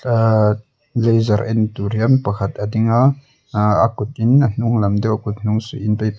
uhhh laser en tur hian pakhat a ding a uhh a kutin a hnung lam te a kut hnung suih in--